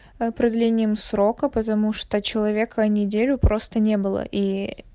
ээ продлением срока потому что человека неделю просто не было и